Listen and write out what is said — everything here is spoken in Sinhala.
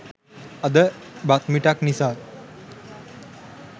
අද බත් මිටක් නිසා